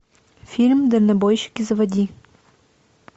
фильм дальнобойщики заводи